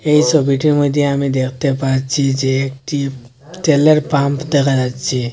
এই ছবিটির মধ্যে আমি দেখতে পাচ্ছি যে একটি তেলের পাম্প দেখা যাচ্ছে।